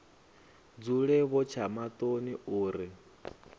dzule vho tsha maṱoni uri